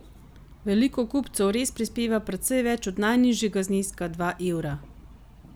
Veliko kupcev res prispeva precej več od najnižjega zneska dva evra.